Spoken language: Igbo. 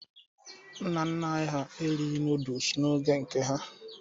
Nna nna anyị ha erighi nọdụs n'oge nke ha.